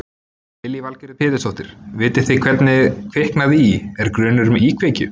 Lillý Valgerður Pétursdóttir: Vitið þið hvernig kviknaði í, er grunur um íkveikju?